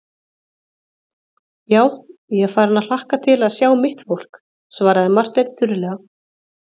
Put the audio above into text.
Já, ég er farinn að hlakka til að sjá mitt fólk, svaraði Marteinn þurrlega.